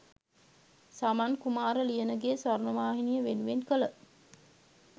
සමන්කුමාර ලියනගේ ස්වර්ණවාහිනිය වෙනුවෙන් කළ